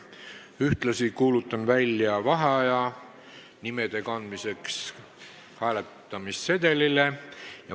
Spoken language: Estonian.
Ühtlasi kuulutan välja vaheaja nimede kandmiseks hääletamissedelitele.